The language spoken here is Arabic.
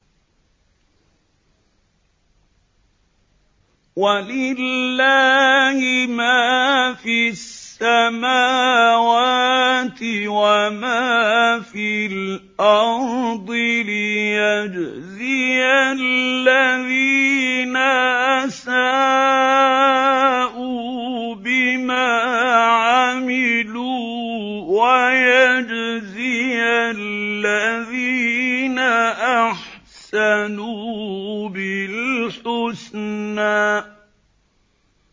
وَلِلَّهِ مَا فِي السَّمَاوَاتِ وَمَا فِي الْأَرْضِ لِيَجْزِيَ الَّذِينَ أَسَاءُوا بِمَا عَمِلُوا وَيَجْزِيَ الَّذِينَ أَحْسَنُوا بِالْحُسْنَى